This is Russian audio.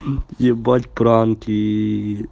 ебать пранки